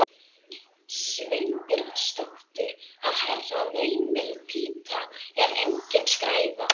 Sveinbjörnsdóttur að Herra veimiltíta er engin skræfa!